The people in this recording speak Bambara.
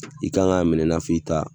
I kan k'a minɛ i n'a fɔ i ta